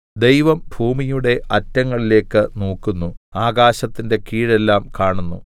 ദൈവം ഭൂമിയുടെ അറ്റങ്ങളിലേക്ക് നോക്കുന്നു ആകാശത്തിന്റെ കീഴെല്ലാം കാണുന്നു